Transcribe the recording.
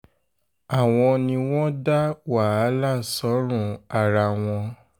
àwọn ni wọ́n dá wàhálà sọ́rùn ara wọn um